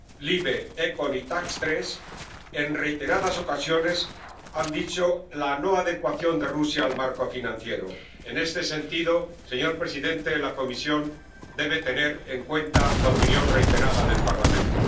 Las Comisiones LIBE, ECON y TAX3 en reiteradas ocasiones han señalado la no adecuación de Rusia al marco financiero. En este sentido, señor presidente, la Comisión debe tener en cuenta la opinión reiterada del Parlamento.